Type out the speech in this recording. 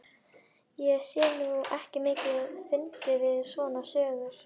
Ég sé nú ekki mikið fyndið við svona sögur.